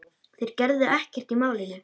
Þeir gerðu ekkert í málinu.